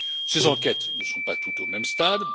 Ces enquêtes n'en sont pas toutes au même stade.